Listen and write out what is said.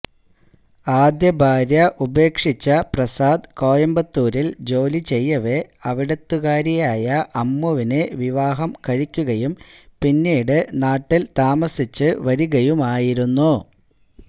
ആദ്യ ഭാര്യ ഉപേക്ഷിച്ച പ്രസാദ് കോയമ്പത്തൂരില് ജോലി ചെയ്യവെ അവിടുത്തുകാരിയായ അമ്മുവിനെ വിവാഹം കഴിക്കുകയും പിന്നീട് നാട്ടില് താമസിച്ച് വരികയുമായിരുന്നു